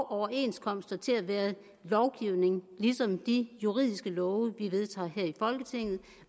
overenskomster til at være lovgivning ligesom de juridiske love vi vedtager her i folketinget